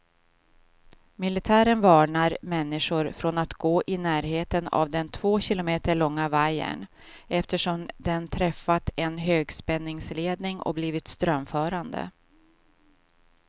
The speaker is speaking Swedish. Militären varnar människor från att gå i närheten av den två kilometer långa vajern, eftersom den träffat en högspänningsledning och blivit strömförande.